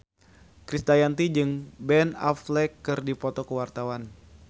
Krisdayanti jeung Ben Affleck keur dipoto ku wartawan